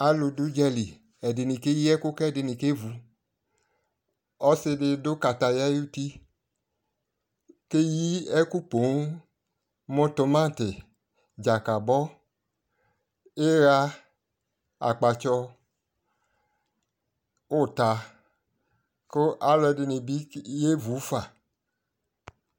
alʋ dʋ ʋdzali ɛdini kɛyi kʋɛdini kɛvʋ, ɔsii di dʋ kataya ayʋti kɛyi ɛkʋ pɔɔm mʋtʋmati, dzakabɔ, iyaa, akpatsɔ, uta kʋ alʋɛdini bi yɛvʋ fa